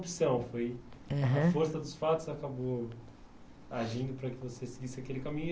opção. Foi, aham, a força dos fatos que acabou agindo para que você seguisse aquele caminho.